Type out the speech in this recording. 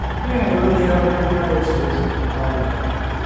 তো নতুন একটা Experience হল খুব ভালো লাগল ওটা দেখে